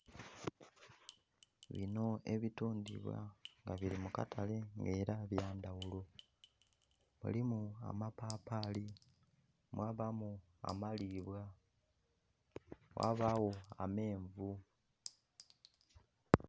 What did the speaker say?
Binho ebitundhubwa nga biri mukatale nga era ebyandhaghulo, mulimu amapapali, mwabamu amalibwa, ghabagho amenvu.